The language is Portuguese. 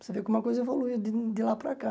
Você vê como a coisa evoluiu de de lá para cá.